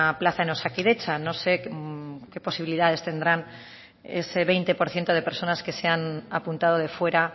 plaza en osakidetza no sé qué posibilidades tendrán ese veinte por ciento de personas que se han apuntado de fuera